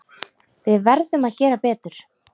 Við verðum að gera betur.